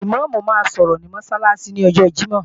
Ìmáàmù máa sọ̀rọ̀ ní Mọ́sálásí ní ọjọ Jímọ̀.